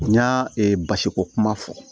N y'a basiko kuma fɔ